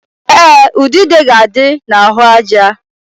Ee, udude ga-adị n'ahụaja